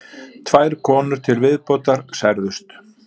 Tvær konur til viðbótar særðust